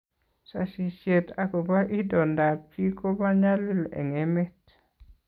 sasishet akoba itondap chii kobo nyalil eng emet